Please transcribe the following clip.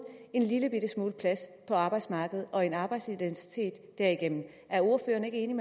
en lillebitte smule plads på arbejdsmarkedet og en arbejdsidentitet derigennem er ordføreren ikke